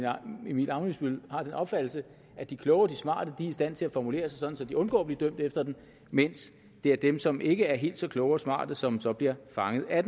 emil ammitzbøll har den opfattelse at de kloge og de smarte er i stand til at formulere sig sådan så de undgår at blive dømt efter den mens det er dem som ikke er helt så kloge og smarte som så bliver fanget af